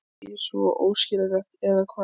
Ekki svo óskiljanlegt, eða hvað?